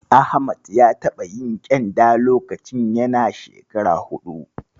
Ahmad ya taɓa yin ƙyenda lokacin yana shekara huɗu.